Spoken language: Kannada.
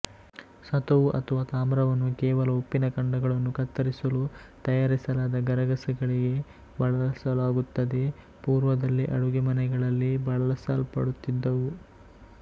ಸತುವು ಅಥವಾ ತಾಮ್ರವನ್ನು ಕೇವಲ ಉಪ್ಪಿನ ಖಂಡಗಳನ್ನು ಕತ್ತರಿಸಲು ತಯಾರಿಸಲಾದ ಗರಗಸಗಳಿಗೆ ಬಳಸಲಾಗುತ್ತದೆ ಪೂರ್ವದಲ್ಲಿ ಅಡುಗೆಮನೆಗಳಲ್ಲಿ ಬಳಸಲ್ಪಡುತ್ತಿದ್ದವು